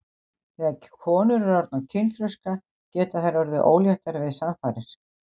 Þegar konur eru orðnar kynþroska geta þær orðið óléttar við samfarir.